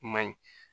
I ma ye